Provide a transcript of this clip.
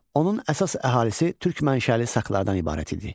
Onun əsas əhalisi türk mənşəli saklardan ibarət idi.